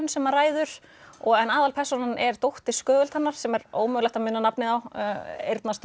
sem að ræður en aðalpersónan er dóttir Skögultannar sem er ómögulegt að muna nafnið á